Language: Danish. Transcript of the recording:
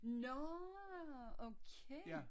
Nårh! Okay